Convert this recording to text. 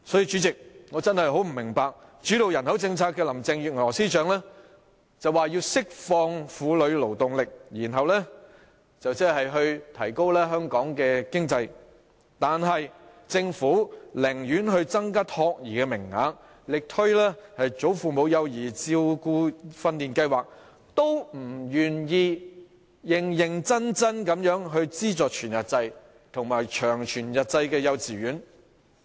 主席，我真的不明白，主導人口政策的林鄭月娥司長說要釋放婦女勞動力，以推動香港的經濟，但政府寧願增加託兒名額，力推"為祖父母而設的幼兒照顧訓練課程試驗計劃"，都不願意認真地資助全日制及長全日制幼稚園。